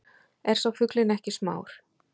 Er sá fuglinn ekki smár,